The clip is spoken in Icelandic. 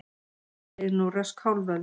Leið nú rösk hálf öld.